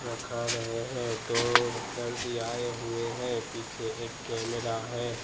रखा गए हैं दो दरजी आए हुए हैं पीछे एक कैमरा है।